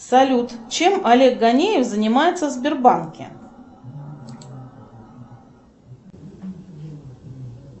салют чем олег ганеев занимается в сбербанке